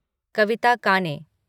कविता काने